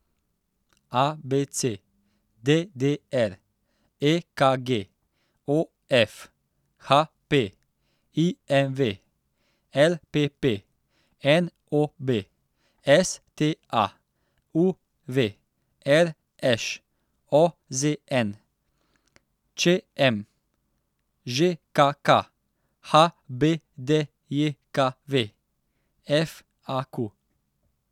A B C; D D R; E K G; O F; H P; I M V; L P P; N O B; S T A; U V; R Š; O Z N; Č M; Ž K K; H B D J K V; F A Q.